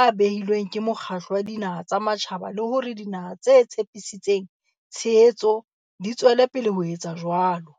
a behilweng ke Mokgatlo wa Dinaha tsa Matjhaba le hore dinaha tse tshepisitseng tshehetso di tswele pele ho etsa jwalo.